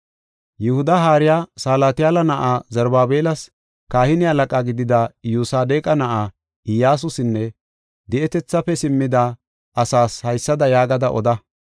“Yihuda haariya, Salatiyaala na7aa, Zarubaabelas, kahine halaqa gidida Iyyosadeqa na7aa, Iyyasusinne di7etethaafe simmida asaas haysada yaagada oda: